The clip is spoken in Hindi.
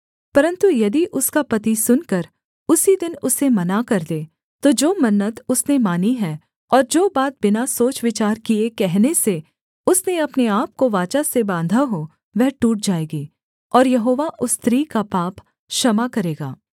परन्तु यदि उसका पति सुनकर उसी दिन उसे मना कर दे तो जो मन्नत उसने मानी है और जो बात बिना सोचविचार किए कहने से उसने अपने आपको वाचा से बाँधा हो वह टूट जाएगी और यहोवा उस स्त्री का पाप क्षमा करेगा